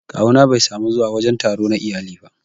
Kawu na Bai samu zuwa wajen taro na iyali ba